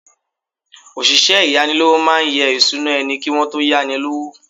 Òṣìṣẹ́ ìyánilówó máa yẹ ìṣúná ẹni kí wón tó yá ni lówó.